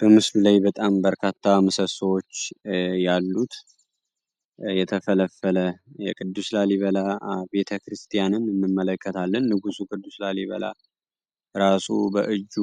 በምስሉ ላይ በጣም በርካታ ምሰሶዎች ያሉት የተፈለፈለ የቅዱስ ላሊበላ ቤተክርስቲያንን እንመለከታለን። ንጉሥ ቅዱስ ላሊበላ ራሱ በእጁ